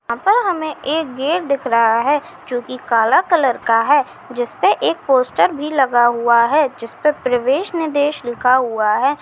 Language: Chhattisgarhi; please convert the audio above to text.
यहाँ पर हमे एक गेट दिख रहा है जो कि काला कलर का है जिसपे एक पोस्टर भी लगा हुआ है जिसपे प्रवेश निदेश लिखा हुआ है।